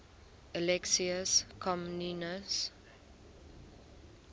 alexius comnenus